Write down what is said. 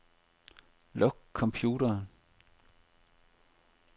Luk computeren.